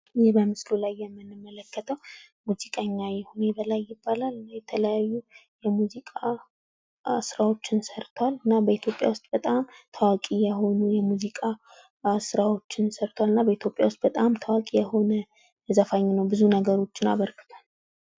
ይህ በምስሉ ላይ የምንመለከተ ሙዚቀኛ ይሁኔ በላይ ይባላል። የተለያዩ የሙዚቃ ስራወችን ሰርቷል። እና በኢትዮጵያ ዉስጥ በጣም ታዋቂ የሆኑ የሙዚቃ ስራዎችን ሰርቷል። እና በኢትዮጵያ ዉስጥ በጣም ታዋቂ የሆነ ዘፋኝ ነው። ብዙ ነገሮችን አበርክቷል።